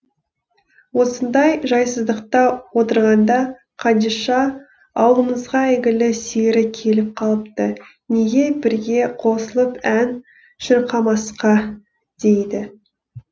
осындай жайсыздықта отырғанда қадиша ауылымызға әйгілі сері келіп қалыпты неге бірге қосылып ән шырқамасқа дейді